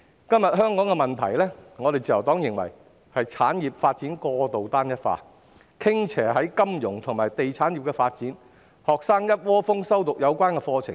今天香港的問題，自由黨認為是產業發展過度單一化，傾斜於金融及地產業的發展，學生一窩蜂修讀有關課程。